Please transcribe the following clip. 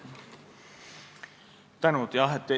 Suur tänu!